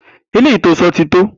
Eléyìi tó o so̩ ti tó!